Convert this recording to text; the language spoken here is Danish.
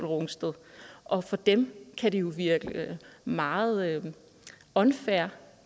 rungsted og for dem kan det jo virke meget unfair